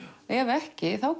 ef ekki þá